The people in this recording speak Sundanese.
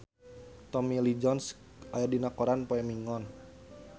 Tommy Lee Jones aya dina koran poe Minggon